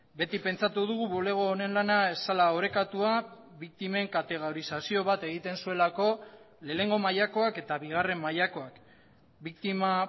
beti pentsatu dugu bulego honen lana ez zela orekatua biktimen kategorizazio bat egiten zuelako lehenengo mailakoak eta bigarren mailakoak biktima